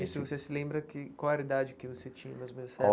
Isso, você se lembra que qual era a idade que você tinha mais ou menos você era?